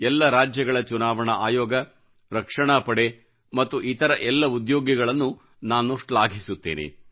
ಎಲ್ಲ ರಾಜ್ಯಗಳ ಚುನಾವಣಾ ಆಯೋಗರಕ್ಷಣಾ ಪಡೆ ಮತ್ತು ಇತರ ಎಲ್ಲ ಉದ್ಯೋಗಿಗಳನ್ನೂ ನಾನು ಶ್ಲಾಘಿಸುತ್ತೇನೆ